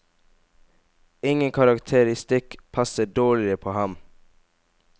Ingen karakteristikk passer dårligere på ham.